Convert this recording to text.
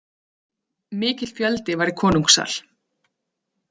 Mikill fjöldi var í konungssal.